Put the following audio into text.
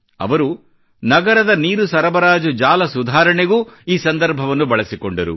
ಅವರು ನಗರದ ನೀರು ಸರಬರಾಜು ಜಾಲ ಸುಧಾರಣೆಗೂ ಈ ಸಂದರ್ಭವನ್ನು ಬಳಸಿಕೊಂಡರು